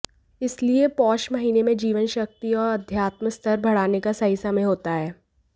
इसलिए पौष महीने में जीवन शक्ति और आध्यात्म स्तर बढ़ाने का सही समय होता है